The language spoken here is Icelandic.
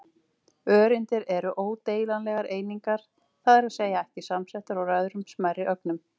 Öreindir eru ódeilanlegar einingar, það er að segja ekki samsettar úr öðrum smærri ögnum.